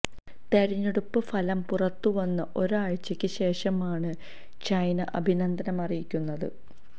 തെരഞ്ഞടുപ്പ് ഫലം പുറത്തു വന്ന് ഒരാഴ്ചയ്ക്ക് ശേഷമാണ് െൈചന അഭിനന്ദനം അറിയിക്കുന്നത്